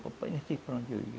O papai não sei para onde eu ia.